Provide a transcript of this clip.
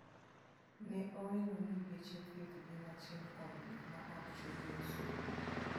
Ne oelo ni geche theieth gin achiel kuom gik ma ok chulie osuru.